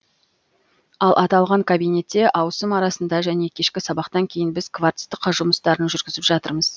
ал аталған кабинетте ауысым арасында және кешкі сабақтан кейін біз кварцтық жұмыстарын жүргізіп жатырмыз